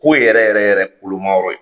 Ko yɛrɛ yɛrɛ yɛrɛ koloma yɔrɔ ye